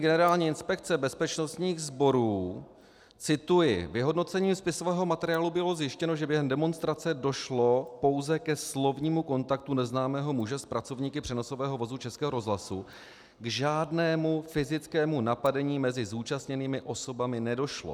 Generální inspekce bezpečnostních sborů cituji: "Vyhodnocením spisového materiálu bylo zjištěno, že během demonstrace došlo pouze ke slovnímu kontaktu neznámého muže s pracovníky přenosového vozu Českého rozhlasu, k žádnému fyzickému napadení mezi zúčastněnými osobami nedošlo.